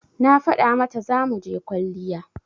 Na faɗa mata zamuje kwalliya